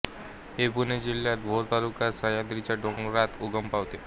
ही पुणे जिल्ह्याच्या भोर तालुक्यात सह्याद्रीच्या डोंगररांगांत उगम पावते